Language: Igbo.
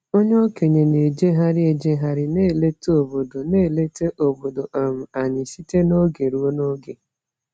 Onye okenye na-ejegharị ejegharị na-eleta obodo na-eleta obodo um anyị site n’oge ruo n’oge.